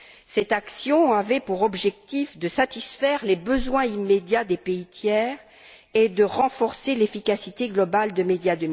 Cette action avait pour objectif de satisfaire les besoins immédiats des pays tiers et de renforcer l'efficacité globale de MEDIA